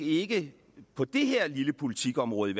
ikke på det her lille politikområde